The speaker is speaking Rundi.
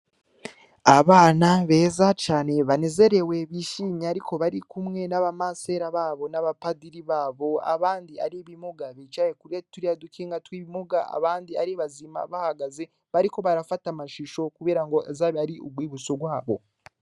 Abana beza cane banezerewe bishimye ariko bari kumwe n'abamasera babo n'abapadiri babo abandi ari bimuga bicaye kurya turi adukinga tw'ibimuga abandi ari bazima bahagaze bariko barafata amashusho, kubera ngo azabi ari ubwibutso rwabo.